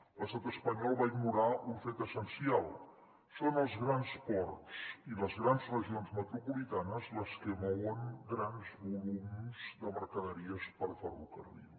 l’estat espanyol va ignorar un fet essencial són els grans ports i les grans regions metropolitanes les que mouen grans volums de mercaderies per ferrocarril